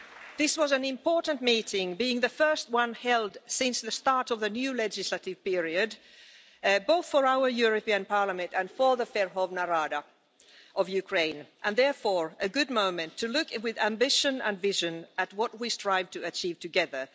This was an important meeting, being the first one held since the start of the new legislative period, both for our European Parliament and for the Verkhovna Rada of Ukraine, and therefore a good moment to look with ambition and vision at what we strive to achieve together.